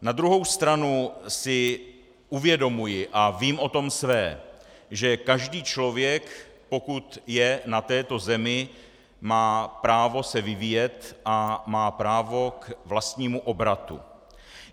Na druhou stranu si uvědomuji, a vím o tom své, že každý člověk, pokud je na této zemi, má právo se vyvíjet a má právo k vlastnímu obratu.